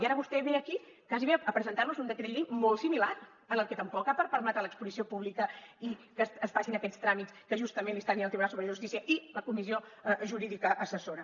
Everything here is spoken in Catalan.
i ara vostè ve aquí gairebé a presentar nos un decret llei molt similar en el qual tampoc permet l’exposició pública i que es facin aquests tràmits que justament li està dient el tribunal superior de justícia i la comissió jurídica assessora